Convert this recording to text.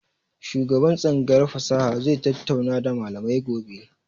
Shugaban tsangayar fasaha zai tattauna da malamai gobe.